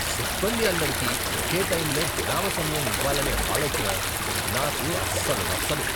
సిబ్బంది అందరికి ఒకే టైంలో విరామ సమయం ఇవ్వాలనే ఆలోచన నాకు అస్సలు నచ్చదు.